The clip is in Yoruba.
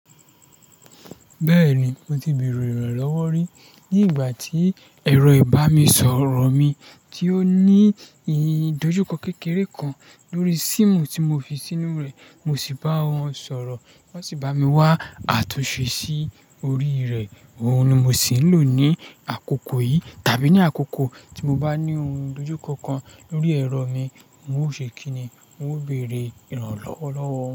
Bẹ́ẹ̀ni, mo ti bèrè ìrànlọ́wọ́ rí. Ní ìgbà tí ẹ̀rọ ìbá mi sọ̀rọ̀ mi tí ó ní ìdojúkọ kékeré kan lórí síìmù tí mo fi sínú rẹ̀, mo sì bá wọn sọ̀rọ̀. Wọ́n sì bá mi wá àtúnṣe sí orí rẹ̀. Ohun ni mo sì ń lò ní àkókò yìí, tàbí ní àkókò tí mo bá ní ohun ìdojúkọ kan lórí ẹ̀rọ mi. N ó ṣe kí ni? O bèrè ìrànlọ́wọ́ lọ́wọ́ wọn.